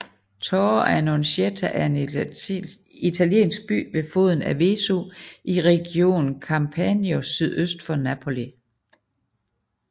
Torre Annunziata er en italiensk by ved foden af Vesuv i regionen Campania sydøst for Napoli